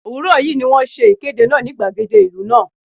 Òwúrọ̀ yí ni wón ṣe ìkéde náà ní gbàgede ìlú náà.